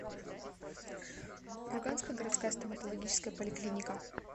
курганская городская стоматологическая поликлиника